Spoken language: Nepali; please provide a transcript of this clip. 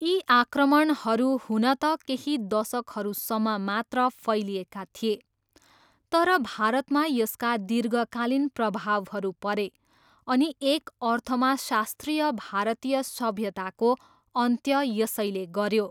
यी आक्रमणहरू हुन त केही दशकहरूसम्म मात्र फैलिएका थिए, तर भारतमा यसका दीर्घकालीन प्रभावहरू परे अनि एक अर्थमा शास्त्रीय भारतीय सभ्यताको अन्त्य यसैले गऱ्यो।